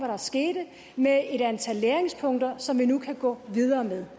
der skete med et antal læringspunkter som vi nu kan gå videre med